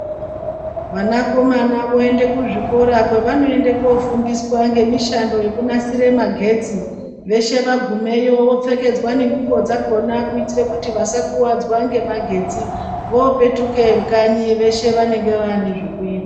Vanakomana voende kuzvikora kwavanoende kofundiswa ngemishando yekunasire magetsi veshe vagumeyo vopfekedzwa ngwani nengubo dzakona kuitire kuti vasakuvadzwe ngemagetsi vopetuke kanyi veshe vaanenge vaanenezvekuita.